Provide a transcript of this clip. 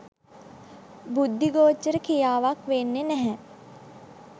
බුද්ධි ගෝචර ක්‍රියාවක් වෙන්නේ නැහැ.